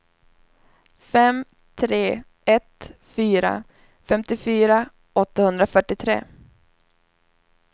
fem tre ett fyra femtiofyra åttahundrafyrtiotre